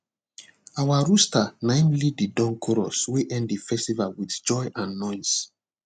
our rooster naim lead the dawn chorus wey end the festival with joy and noise